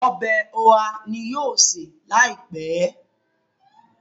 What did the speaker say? Ọbẹ̀ oha ní yóò ṣe láìpé.